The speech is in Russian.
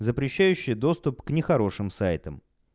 запрещающая доступ к нехорошим сайтам